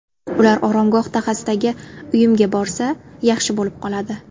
Ular Oromgoh dahasidagi uyimga borsa, yaxshi bo‘lib qoladi.